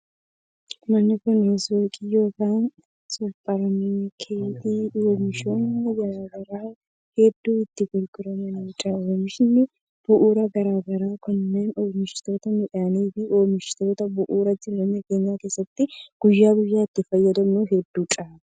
Manni kun suuqii yokin supparmaarkettii oomishoonni garaa garaa hedduun itti gurguramanii dha. Oomishoonni bu'uuraa garaa garaa kunneen oomishoota midhaanii fi oomishoota bu'uuraa jireenya keenya keessatti guyya guyyaan itti fayyadamnu hedduu dha.